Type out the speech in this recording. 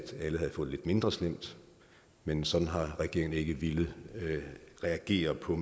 alle havde fået det lidt mindre slemt men sådan har regeringen ikke villet reagere på